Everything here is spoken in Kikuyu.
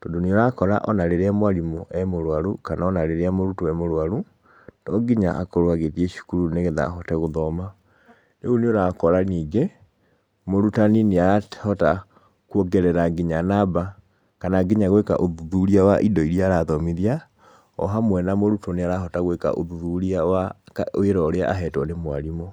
tondũ nĩ ũrakora ona rĩrĩa mwarimũ emũrwaru, kana ona rĩrĩa mũrutwo emũrwaru, tonginya akorwo agĩthiĩ cukuru nĩgetha ahote gũthoma. Rĩu nĩ ũrakora ningĩ, mũrutani nĩ arahota kuongerera nginya namba, kana nginya gũĩka ũthuthuria wa indo iria arathomithia, ohamwe na mũrutwo nĩ arahota gũĩka ũthuthuria wa wĩra ũrĩa ahetwo nĩ mwarimũ.